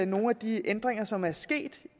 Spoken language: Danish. nogle af de ændringer som er sket